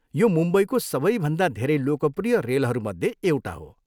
यो मुम्बईको सबैभन्दा धेरै लोकप्रिय रेलहरूमध्ये एउटा हो।